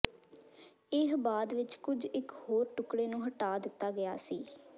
ਇਹ ਬਾਅਦ ਵਿੱਚ ਕੁਝ ਇੱਕ ਹੋਰ ਟੁਕੜੇ ਨੂੰ ਹਟਾ ਦਿੱਤਾ ਗਿਆ ਸੀ